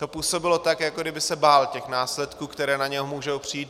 To působilo tak, jako kdyby se bál těch následků, které na něj můžou přijít.